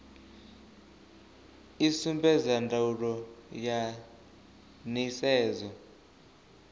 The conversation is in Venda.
i sumbedza ndaulo ya nisedzo